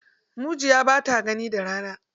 Mujiya ba ta gani da rana.